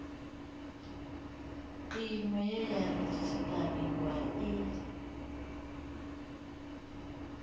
iṅwe ye ya redzisiṱariwa i